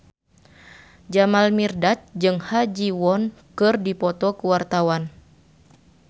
Jamal Mirdad jeung Ha Ji Won keur dipoto ku wartawan